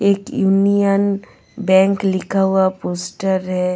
एक union bank लिखा हुआ पोस्टर है.